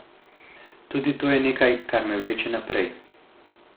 Tudi to je nekaj, kar me vleče naprej.